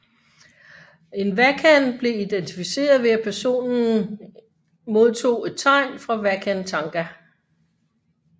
En wakan blev identificeret ved at personens modtog et tegn fra Wakan Tanka